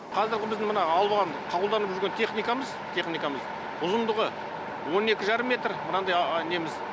қазіргі біздің мына алуан қолданып жүрген техникамыз техникамыз ұзындығы он екі жарым метр мынандай неміз